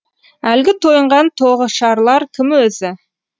әлгі тойынған тоғышарлар кім өзі